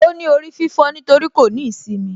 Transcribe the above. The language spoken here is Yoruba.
Óní orí fífó nítorí kò ní īsimi